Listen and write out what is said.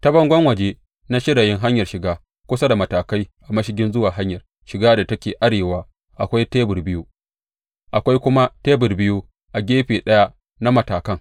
Ta bangon waje na shirayin hanyar shiga, kusa da matakai a mashigin zuwa hanyar shiga da take arewa akwai tebur biyu, akwai kuma tebur biyu a gefe ɗaya na matakan.